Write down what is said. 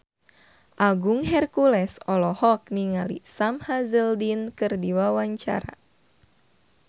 Agung Hercules olohok ningali Sam Hazeldine keur diwawancara